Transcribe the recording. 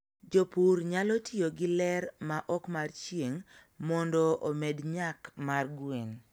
jopur nyalo tiyo gi ler ma ok mar ching mondo omed nyak mar gwen.